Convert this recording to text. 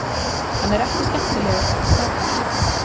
Hann er ekki skemmtilegur ef þú tapar.